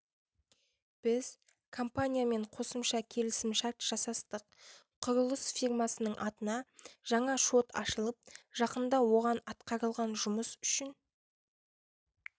біз компаниямен қосымша келісімшарт жасастық құрылыс фирмасының атына жаңа шот ашылып жақында оған атқарылған жұмыс үшін